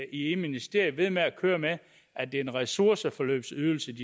i ministeriet ved med at køre med at det er en ressourceforløbsydelse